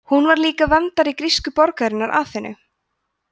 hún var líka verndari grísku borgarinnar aþenu